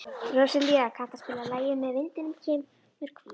Róselía, kanntu að spila lagið „Með vindinum kemur kvíðinn“?